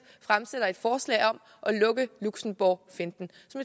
fremsætter et forslag om at lukke luxembourgfinten